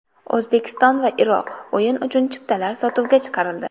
O‘zbekiston va Iroq: o‘yin uchun chiptalar sotuvga chiqarildi.